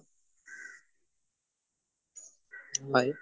হয়